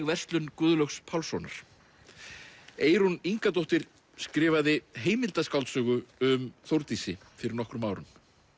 verslun Guðlaugs Pálssonar Eyrún Ingadóttir skrifaði um Þórdísi fyrir nokkrum árum